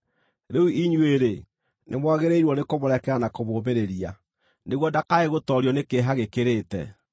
Rĩu inyuĩ-rĩ, nĩmwagĩrĩirwo nĩkũmũrekera na kũmũũmĩrĩria, nĩguo ndakae gũtoorio nĩ kĩeha gĩkĩrĩte.